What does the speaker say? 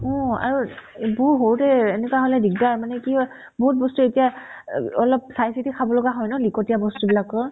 অ, আৰু বহু সৰুতে এনেকুৱা হ'লে দিকদাৰ মানে কি হয় বহুত বস্তু এতিয়া এব অলপ চাই-চিতি খাব লগা হয় ন লিকতিয়া বস্তু বিলাকৰ